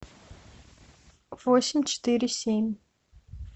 восемь четыре семь